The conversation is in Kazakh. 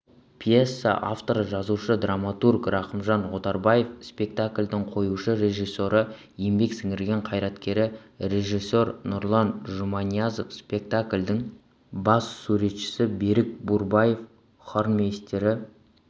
пьеса авторы жазушы драматург рахымжан отарбаев спектакльдің қоюшы режиссері еңбек сіңірген қайраткері режиссер нұрлан жұманиязов спектакльдің бас суретшісі берік бурбаев хормейстері